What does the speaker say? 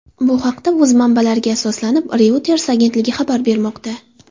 bu haqda, o‘z manbalariga asoslanib, Reuters agentligi xabar bermoqda .